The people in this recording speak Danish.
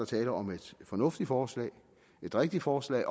tale om et fornuftigt forslag et rigtigt forslag